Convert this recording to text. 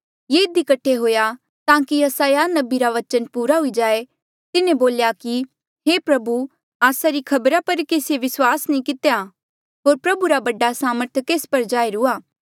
ये इधी कठे हुआ ताकि यसायाह नबी रा बचन पूरा हुई जाए तिन्हें बोल्या कि हे प्रभु आस्सा री खबरा पर केसीए विस्वास नी कितेया होर प्रभु रा बडा सामर्थ केस पर जाहीर हुआ